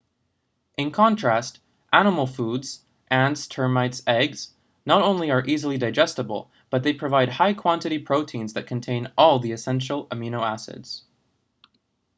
in contrast animal foods ants termites eggs not only are easily digestible but they provide high-quantity proteins that contain all the essential amino acids